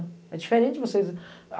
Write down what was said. É diferente de vocês.